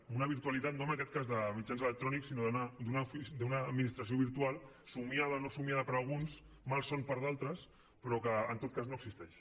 en una virtualitat no en aquest cas de mitjans electrònics sinó d’una administració virtual somiada o no somiada per alguns malson per a altres però que en tot cas no existeix